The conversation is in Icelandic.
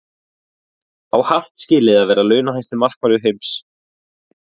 Á Hart skilið að vera launahæsti markvörður heims?